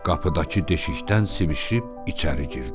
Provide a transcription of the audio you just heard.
Qapıdakı deşikdən sivişib içəri girdi.